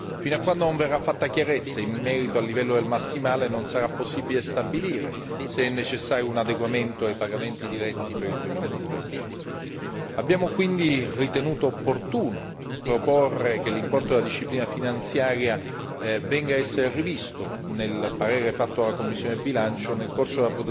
Fino a quando non verrà fatta chiarezza in merito al livello del massimale non sarà possibile stabilire se è necessario un adeguamento ai pagamenti diretti per il 2013. Abbiamo quindi ritenuto opportuno proporre che l'importo della disciplina finanziaria venga essere rivisto nel parere fatto alla commissione bilancio nel corso